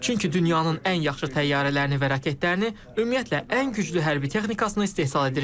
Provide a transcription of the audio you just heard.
Çünki dünyanın ən yaxşı təyyarələrini və raketlərini, ümumiyyətlə ən güclü hərbi texnikasını istehsal edirik.